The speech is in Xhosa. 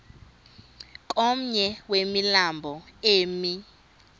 komnye wemilambo emi